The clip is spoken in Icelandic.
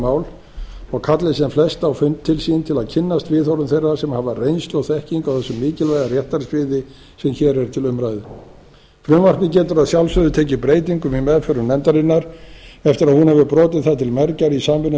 mál og kalli sem fella á fund til sín til að kynnast viðhorfum þeirra sem hafa reynslu og þekkingu á þessu mikilvæga réttarsviði sem hér er til umræðu frumvarpið getur að sjálfsögðu tekið breytingum í meðförum nefndarinnar eftir að hún hefur brotið það til mergjar í samvinnu